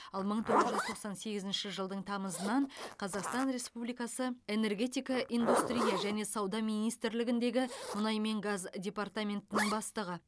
ал мың тоғыз жүз тоқсан сегізінші жылдың тамызынан қазақстан республикасы энергетика индустрия және сауда министрлігіндегі мұнай мен газ департаментінің бастығы